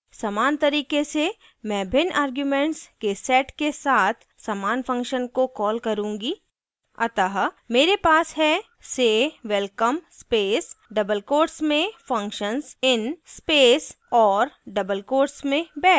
समान तरीके से manner भिन्न arguments के set के साथ समान function को कॉल करूँगी अतः manner bash है say _ welcome space double quotes में functions in space और double quotes में bash